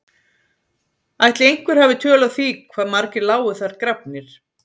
Ætli einhver hafi tölu á því hvað margir lágu þar grafnir?